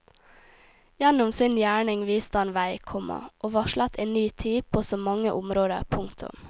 Gjennom sin gjerning viste han veg, komma og varslet en ny tid på så mange områder. punktum